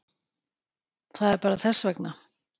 Það er bara þess vegna.